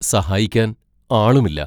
സഹായിക്കാൻ ആളുമില്ല.